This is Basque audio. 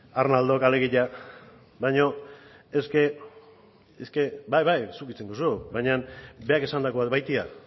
arnaldok alegia bai bai zuk hitz egin duzu baina berak esandakoak baitira